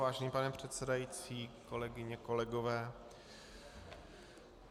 Vážený pane předsedající, kolegyně, kolegové.